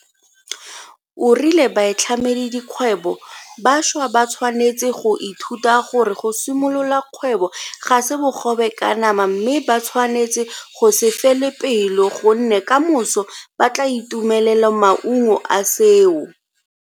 O rile baitlhamedikgwebo ba bašwa ba tshwanetse go ithuta gore go simolola kgwebo ga se bogobe ka nama mme ba tshwanetse go se fele pelo gonne kamoso ba tla itumelela maungo a seo.